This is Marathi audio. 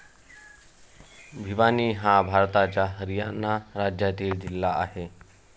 भिवानी हा भारताच्या हरियाणा राज्यातील जिल्हा आहे.